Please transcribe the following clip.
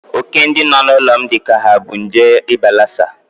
Óké ndị nọ n'ụlọ m dịcha ka ha bu nje ịba lasa.